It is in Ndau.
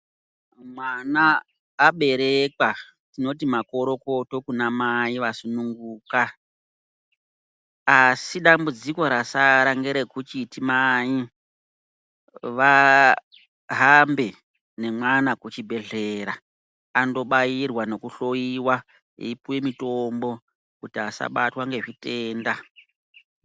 Mwana aberekwa tinoti makorokoto kuna mai va sununguka asi dambudziko rasara ngere kuchiti mai vahambe ne mwana ku chibhedhlera ando bairwa neku hloyiwa eyi puwe mitombo kuti asabatwa nge zvitenda.